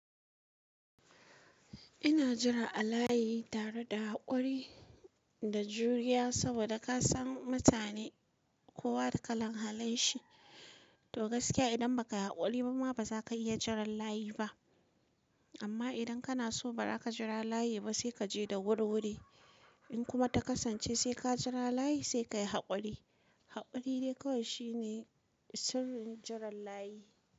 Ina jira a layi tare da haƙuri da juriya saboda ka san mutane kowa da kalan halin shi to gaskiya idan ba ka haƙuri ba ma ba za ka iya jiran layi ba amma idan kana so ba za ka jira layi ba sai ka je da wuri-wuri in kuma ta kasance sai ka jira layi sai ka yi haƙuri haƙuri dai kawai shine sirrin jiran layi.